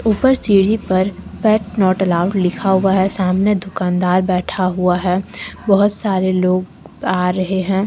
ऊपर सीढ़ी पर पेट नॉट अलाउड लिखा हुआ है सामने दुकानदार बैठा हुआ है बहोत सारे लोग आ रहे हैं।